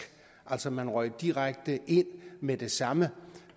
altså man røg direkte ind med det samme